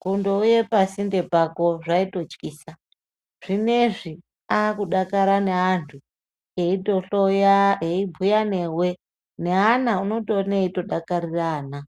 kundouye pasinde pako zvaitotyisa zvinezvi akudakara naantu eitohloya eibhuya newe neana unotoona eitodakarire ana.